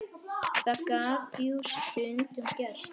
Það gat jú stundum gerst!